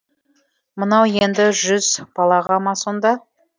мынау енді жүз балаға ма сонда